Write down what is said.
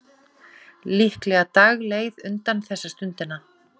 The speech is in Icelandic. Líklega dagleið undan þessa stundina.